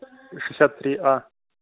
шестьдесят три а